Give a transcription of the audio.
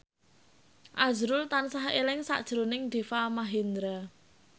azrul tansah eling sakjroning Deva Mahendra